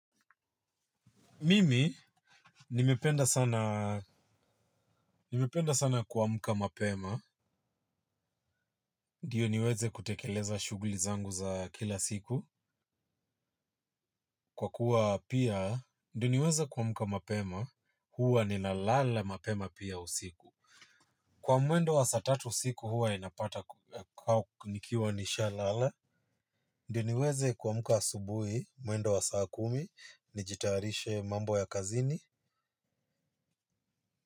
Mimi, nimependa sana nimependa sana kuamka mapema. Ndiyo niweze kutekeleza shughuli zangu za kila siku. Kwa kuwa pia, ndio niweze kuamka mapema, huwa ni lalala mapema pia usiku. Kwa mwendo wa saa tatu siku huwa ninapata kwa nikiwa nishalala. Ndiyo niweze kuamka subuhi mwendo wa saa kumi, nijitayarishe mambo ya kazini.